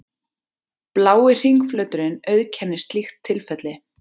Blái hringflöturinn auðkennir slíkt tilfelli.